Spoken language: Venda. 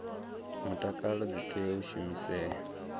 mutakalo dzi tea u shumisea